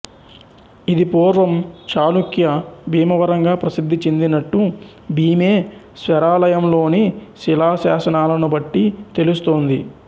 ఇది పూర్వం చాళుక్య భీమవరంగా ప్రసిధ్ధి చెందినట్టు భీమేశ్వరాలయంలోని శిలాశాసనాలనుబట్టి తెలుస్తోంది